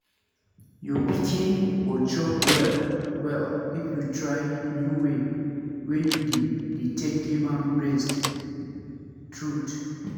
your pikin go chop well well if you try new way wey you dey dey take give am breast truth